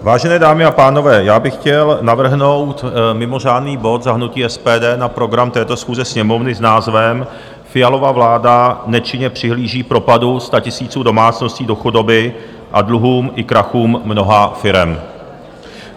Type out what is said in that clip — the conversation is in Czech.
Vážené dámy a pánové, já bych chtěl navrhnout mimořádný bod za hnutí SPD na program této schůze Sněmovny s názvem Fialova vláda nečinně přihlíží propadu statisíců domácností do chudoby a dluhům i krachům mnoha firem.